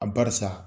A barisa